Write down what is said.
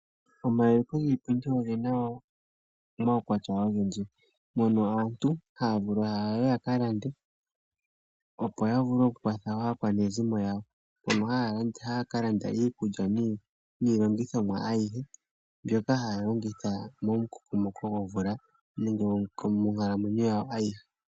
Omayuliko giipindi ogena omawukwatya ogendji mono aantu haya vulu yaye ya ka lande opo vulu ya vule oku kwatha aakwanezimo yawo mono haya ka landa iikulya niilongithomwa ayihe mbyoka haya longitha momu kokomoko gomvula nenge moonkalamwenyo yawo ayihe.